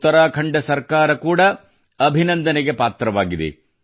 ಉತ್ತರಾಖಂಡ ಸರ್ಕಾರ ಕೂಡ ಅಭಿನಂದನೆಗೆ ಪಾತ್ರವಾಗಿದೆ